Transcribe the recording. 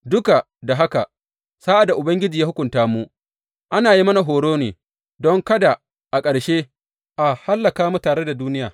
Duk da haka sa’ad da Ubangiji ya hukunta mu, ana yin mana horo ne don kada a ƙarshe a hallaka mu tare da duniya.